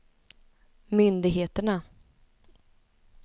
myndigheterna